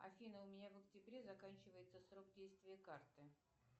афина у меня в октябре заканчивается срок действия карты